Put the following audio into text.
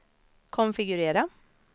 konfigurera